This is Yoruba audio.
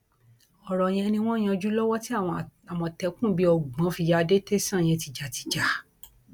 ọrọ yẹn ni wọn ń yanjú lọwọ tí àwọn àmọtẹkùn bíi ọgbọn fi ya dé tẹsán yẹn tìjàtìjà